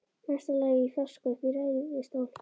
Mesta lagi í fjarska uppi í ræðustól.